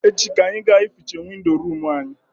Echi ka anyị ga eficha windo room anyị